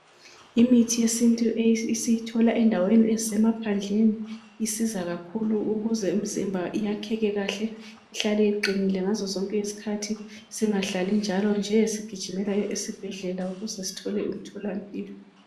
Imithi yesintu esiyithola endaweni ezisemaphandleni iyanceda kakhulu ukuze imizimba iyakheke kahle ihlale iqinile ngazozonke izikhathi singahlali njalo nje sigijimela esibhedlela ukuze sithole imtholampilo.